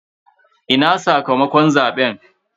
Ina sakamakon zaben?